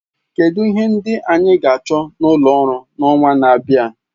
Kedu ihe ndị anyị ga-achọ n'ulọ oru n'ọnwa na-abịa?